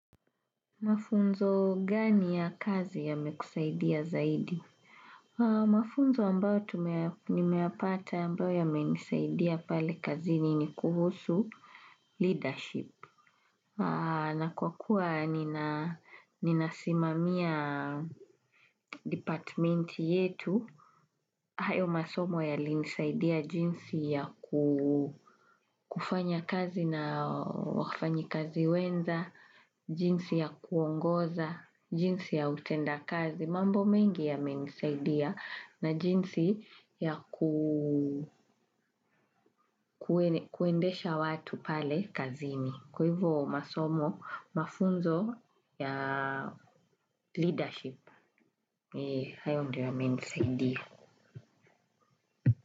Mafunzo gani ya kazi yamekusaidia zaidi? Mafunzo ambayo nimeapata ambayo yamenisaidia pale kazini ni kuhusu leadership. Na kwa kuwa nina simamia departmenti yetu. Hayo masomo yalinisaidia jinsi ya kufanya kazi na wafanyikazi wenza, jinsi ya kuongoza, jinsi ya utenda kazi, mambo mengi ya menisaidia na jinsi ya kuendesha watu pale kazini. Kwa hivyo masomo, mafunzo ya leadership, hayo ndio yamenisaidia.